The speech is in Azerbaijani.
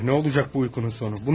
Allah Allah, nə olacaq uyqunun sonu.